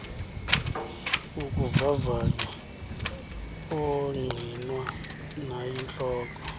ukuvavanya ongqinwa nayintloko